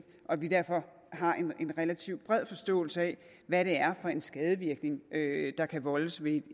og at vi derfor har en relativt bred forståelse af hvad det er for en skadevirkning der kan voldes ved